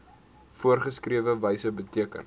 voorgeskrewe wyse beteken